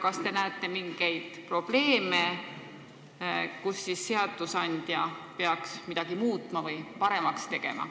Kas te näete mingeid probleeme, mille tõttu seadusandja peaks midagi muutma, et olukorda paremaks teha?